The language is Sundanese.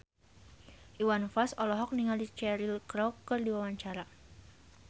Iwan Fals olohok ningali Cheryl Crow keur diwawancara